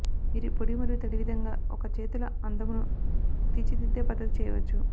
మీరు పొడి మరియు తడి విధంగా ఒక చేతుల అందమును తీర్చిదిద్దే పద్ధతి చేయవచ్చు